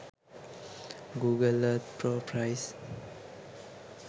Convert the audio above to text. google earth pro price